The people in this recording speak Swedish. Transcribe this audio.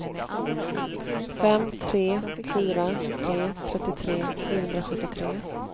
fem tre fyra tre trettiotre sjuhundrasjuttiotre